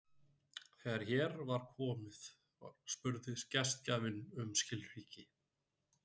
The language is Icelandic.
Þegar hér var komið spurði gestgjafinn um skilríki.